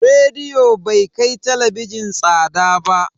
Rediyo bai kai talabijin tsada ba.